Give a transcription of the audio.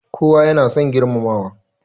Kowa ya na son girmamawa